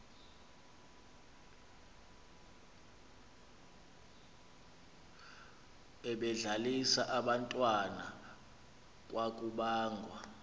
ebedlalisa abantwana kwakubangwa